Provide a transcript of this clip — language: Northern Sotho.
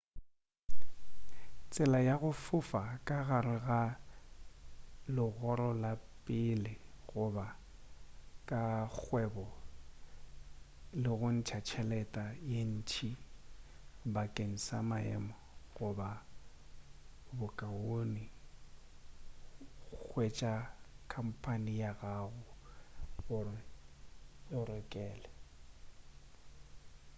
tsela ya go fofa ka gare ga legoro la pele goba la kgwebo ke go ntša tšhelete ye ntšintši bakeng sa maemo goba bokaone hwetša khampane ya gago gore e go direle